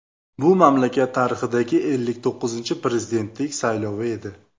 Bu mamlakat tarixidagi ellik to‘qqizinchi prezidentlik saylovi edi.